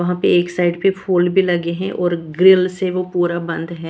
वहां पे एक साइड पे फूल भी लगे हैं और ग्रिल से वो पूरा बंद है।